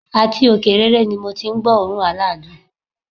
Àti òkè rere ni mo ti n gbó òórùn aládùn